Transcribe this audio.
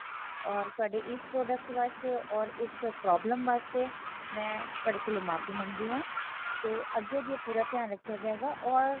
ਔਰ ਤੁਹਾਡੇ ਇਸ product ਵਾਸਤੇ ਔਰ ਇਸ problem ਵਾਸਤੇ ਮੈ ਤੁਹਾਡੇ ਕੋਲ ਮਾਫ਼ੀ ਮੰਗਦੀ ਹਾਂ ਤੇ ਅਗਿਓ ਦੀ ਪੂਰਾ ਧਿਆਨ ਰੱਖਿਆ ਜਾਏਗਾ ਔਰ